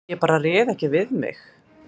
Ég bara réð ekki við mig